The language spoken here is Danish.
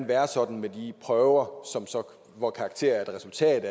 være sådan med de prøver hvor karakterer er et resultat